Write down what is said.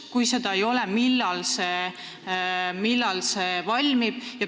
Kui seda arvestust ei ole, siis millal see valmib?